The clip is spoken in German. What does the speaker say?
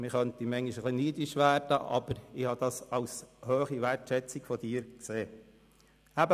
Man könnte manchmal neidisch werden, aber ich habe dies als hohe Wertschätzung von Ihnen angesehen.